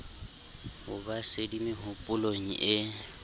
ho ba sedi mehopolong e